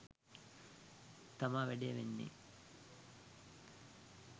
තමා වැඩේ වෙන්නේ